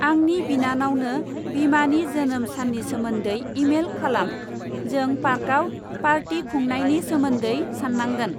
आंनि बिनानावनो बिमानि जोनोम साननि सोमोन्दै इमेल खालाम, जों पार्काव पार्टि खुनांयनी सोमोन्दै सान्नांगोन।